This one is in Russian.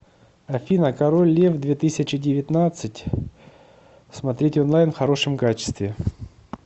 афина король лев две тысячи девятнадцать смотреть онлайн в хорошем качестве